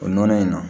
O nɔnɔ in na